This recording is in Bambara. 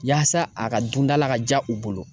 Yaasa a ka dundala ka diya u bolo